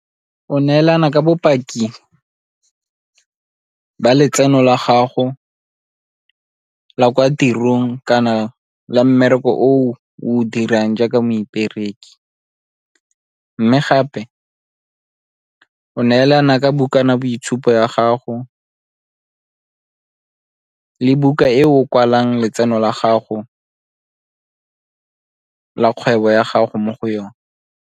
O neelana ka bopaki ba letseno la gago la kwa tirong kana la mmereko o o dirang jaaka moipereki, mme gape o neelana ka bukana boitshupo ya gago le buka e o kwalang letseno la gago la kgwebo ya gago mo go yone.